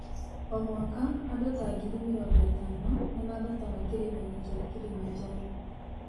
O mwaka, andũ ta ngiri mĩrongo ĩtano nĩ maambataga Kĩrĩma-inĩ kĩa Kilimanjaro.